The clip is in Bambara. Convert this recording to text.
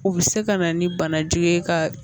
U bɛ se ka na ni banajugu ye ka